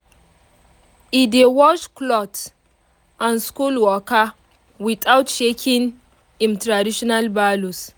e dey wash cloth and school waka without shaking im traditional values